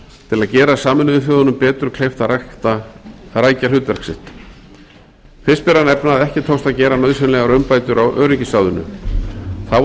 til að gera sameinuðu þjóðunum betur kleift að rækja hlutverk sitt fyrst ber að nefna að ekki tókst að gera nauðsynlegar umbætur á öryggisráðinu þá er